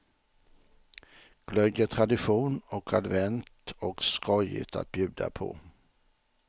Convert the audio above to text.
Glögg är tradition och advent och skojigt att bjuda på.